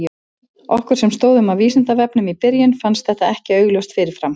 Okkur sem stóðum að Vísindavefnum í byrjun fannst þetta ekki augljóst fyrir fram.